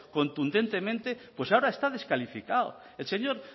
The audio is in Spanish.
contundentemente pues ahora está descalificado el señor